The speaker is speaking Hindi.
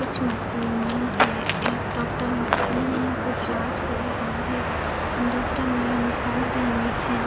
कुछ मशीनें हैं एक डॉक्टर मशीन में कुछ जांच कर रहा है डॉक्टर न्यू यूनिफॉर्म पहनी है।